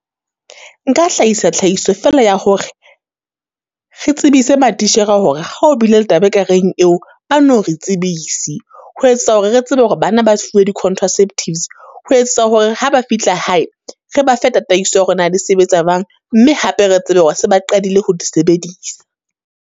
Nka hlahisa tlhahiso fela ya hore, re tsebise matitjhere hore ha ho bile le taba e ka reng eo, ba no re e tsebise. Ho etsetsa hore re tsebe hore bana ba fuwe di-contraceptives, ho etsetsa hore ha ba fihla hae re bafe tataiso ya hore na di sebetsa jwang? Mme hape re tsebe hore se ba qadile ho di sebedisa.